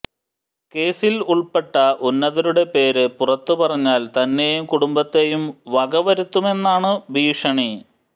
കേസിൽ ഉൾപ്പെട്ട ഉന്നതരുടെ പേര് പുറത്ത് പറഞ്ഞാൽ തന്നെയും കുടുംബത്തെയും വകവരുത്തുമെന്നാണ് ഭീഷണി